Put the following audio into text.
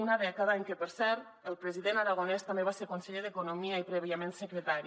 una dècada en què per cert el president aragonès també va ser conseller d’economia i prèviament secretari